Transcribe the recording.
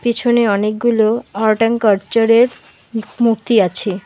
পিছনে অনেকগুলো art and কার্টচারের মু মূর্তি আছে।